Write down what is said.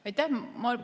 Aitäh!